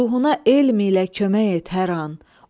Ruhuna elm ilə kömək et hər an.